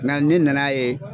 Nka ne na n'a ye